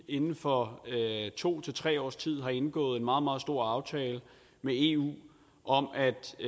inden for to tre års tid havde indgået en meget meget stor aftale med eu om